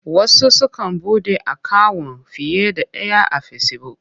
Wasu sukan buɗe akawun fiye da ɗaya a Fesibuk.